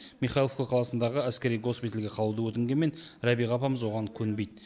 михайловка қаласындағы әскери госпитальге қалуды өтінгенмен рәбиға апамыз оған көнбейді